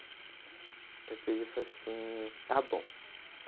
Daí eu peguei e falei assim, está bom.